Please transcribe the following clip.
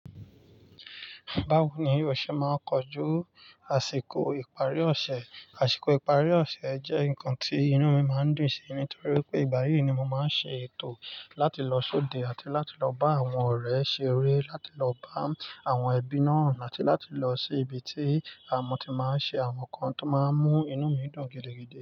Báwo ni yóò ṣe máa kọjú àsìkò ìparí ọ̀ṣẹ̀? Àsìkò ìparí ọ̀ṣẹ̀ jẹ́ ǹkan tí inú mi máa ń dùn sí, nítorí pé ìgbà yí ni mo máa ń ṣe ètò láti lọ sóde àti láti lọ bá àwọn ọ̀rẹ́ ṣe ère, láti lọ bá àwọn ẹbí náà àti láti lọ sí ibi tí àmọ́ ti máa ń ṣe àwọn nǹkan tó máa ń mú inú mi dùn gidigidi.